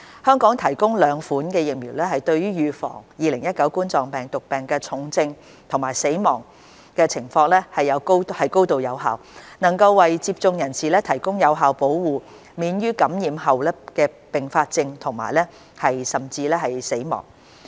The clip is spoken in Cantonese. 香港提供的兩款疫苗對於預防2019冠狀病毒病重症和死亡情況高度有效，能為接種人士提供有效保護，免於感染後併發重症甚至死亡。